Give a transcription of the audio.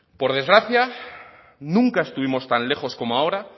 por desgracia nunca estuvimos tan lejos como ahora